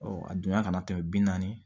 a donna kana tɛmɛ bi naani